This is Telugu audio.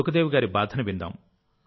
సుఖ్దేవి గారి బాధను విందాం